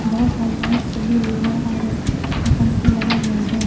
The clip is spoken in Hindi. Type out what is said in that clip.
बहोत सारी लाइट्स जली हुई है और पंखे लगे हुए हैं।